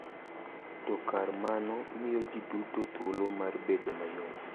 To kar mano, miyo ji duto thuolo mar bedo mayom .